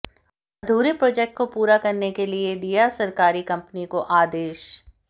अधूरे प्रोजेक्ट को पूरा करने के लिए दिया सरकारी कंपनी को आदेश